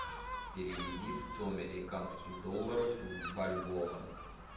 переведи сто американских долларов в бальбоа